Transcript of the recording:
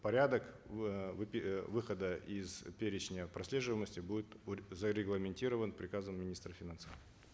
порядок выхода из перечня прослеживаемости будет зарегламентирован приказом министра финансов